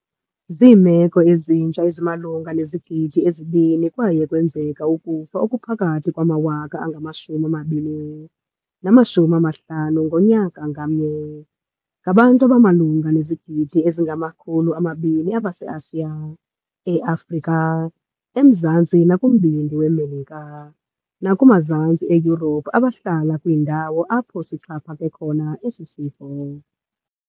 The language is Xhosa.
Ziimeko ezintsha ezimalunga nezigidi ezi-2 kwaye kwenzeka ukufa okuphakathi kwamawaka angama-20 nama-50 ngonyaka ngamnye. Ngabantu abamalunga nezigidi ezingama-200 abaseAsiya, eAfrika, eMzantsi nakuMbindi weMelika, nakumazantsi eYurophu abahlala kwiindawo apho sixhaphake khona esi sifo.